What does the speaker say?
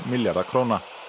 milljarða króna